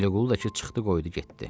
Vəliqulu da ki, çıxdı, qoydu getdi.